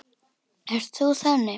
Ert þú þannig?